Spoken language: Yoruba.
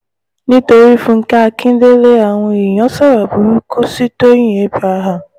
nítorí fúnkẹ́ akíndélé àwọn èèyàn sọ̀rọ̀ burúkú sí tọ́yìn abraham